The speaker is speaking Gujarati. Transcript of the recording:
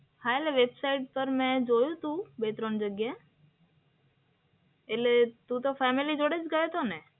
હા એટલે વેબસાઇટ પર મે જોયું હતું, બે-ત્રણ જગ્યા. એટલે તું તો ફેમિલી જોડે જ ગયો હતો ને?